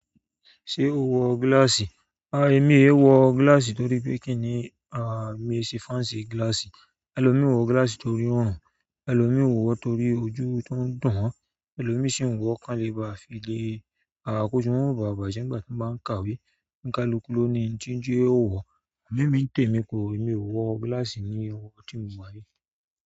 Ṣé o wọ gíláàsì? A, èmi e wọ gíláàsì torí pé kí ni, a, mi e ṣe fancy gíláàsì. Ẹ̀lomii n wọ gíláàsì torí òórùn, ẹ̀lomiin wọ̀ torí ojú tó ń dùn wọ́n, ẹ̀lomii sì ń wọ, kán lè ba file. A koju wọn mọ ba bàjẹ́ nígbà tí wọ́n bá ń kàwé. Ǹkalukú ló ni nti n jẹ ó wọ̀. Amọ emi ni temi, emi o wọn gilasi ni ọwọ ti mo wa yi.